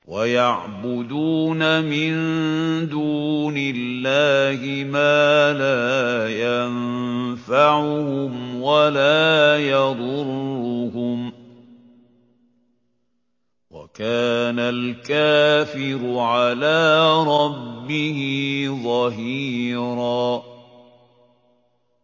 وَيَعْبُدُونَ مِن دُونِ اللَّهِ مَا لَا يَنفَعُهُمْ وَلَا يَضُرُّهُمْ ۗ وَكَانَ الْكَافِرُ عَلَىٰ رَبِّهِ ظَهِيرًا